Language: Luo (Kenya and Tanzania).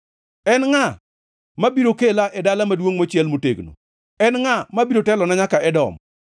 En ngʼa mabiro kela e dala maduongʼ mochiel motegno? En ngʼa mabiro telona nyaka Edom?